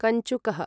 कञ्चुकः